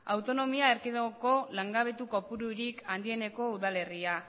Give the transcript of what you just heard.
autonomia erkidegoko langabetu kopururik handieneko udalerria